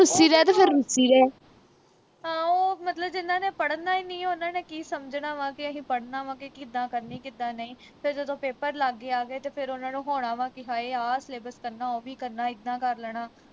ਹਾਂ ਉਹ ਮਤਲਬ ਜਿਹਨਾ ਨੇ ਪੜਨਾ ਈ ਨਹੀਂ ਆ ਉਨ੍ਹਾਂ ਨੇ ਕੀ ਸਮਝਣਾ ਵਾ ਕੇ ਅਹੀਂ ਪੜਨਾ ਵਾ ਕੇ ਕਿੱਦਾਂ ਕਰਨੇ ਕਿੱਦਾਂ ਨਹੀਂ ਤੇ ਫਿਰ ਜਦੋਂ paper ਲਾਗੇ ਆ ਗਏ ਤੇ ਫਿਰ ਉਨ੍ਹਾਂ ਨੂੰ ਹੋਣਾ ਵਾ ਕਿ ਹਏ ਆਹ syllabus ਕਰਨਾ ਉਹ ਵੀ ਕਰਨਾ ਇੱਦਾਂ ਕਰ ਲੈਣਾ